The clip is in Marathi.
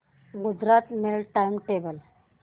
Gujarat mail time table